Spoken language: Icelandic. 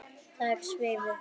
Þær svifu.